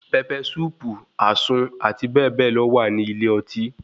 Pẹpẹ súùpù, àsun, àti bẹ́ẹ̀ bẹ́ẹ̀ lọ wà ní ilé ọtí.